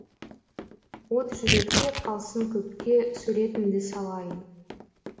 от жүректе қалсын көпке суретіңді салайын